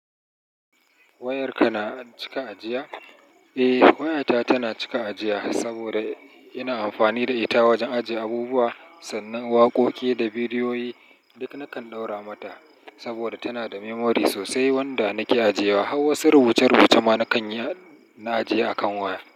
Wayarka na cika ajiya? Eh, wayata tana cika ajiya saboda ina amfani da ita wajen ajiye abubuwa sannan waƙoƙi da bidiyoyi duk nakan ɗaura mata saboda tana da memory sosai wanda nake ajiye wa. Hauwasun rubuce-rubuce ma na kan na ajiye a kan waya.